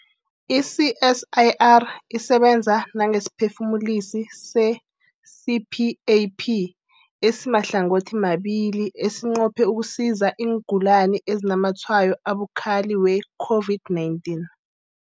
I-CSIR isebenza nangesiphefumulisi se-CPAP esimahlangothimabili esinqophe ukusiza iingulani ezinazamatshwayo abukhali we-COVID-19.